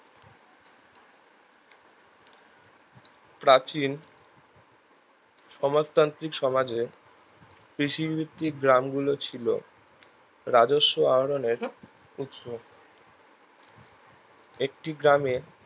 প্রাচীন সমাজতান্ত্রিক সমাজের কৃষিভিত্তিক গ্রাম গুলো ছিলো রাজস্ব আরণের উৎস একটি গ্রামের